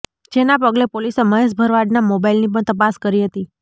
જેના પગલે પોલીસે મહેશ ભરવાડના મોબાઈલની પણ તપાસ કરી હતી